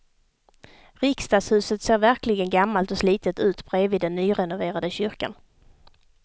Riksdagshuset ser verkligen gammalt och slitet ut bredvid den nyrenoverade kyrkan.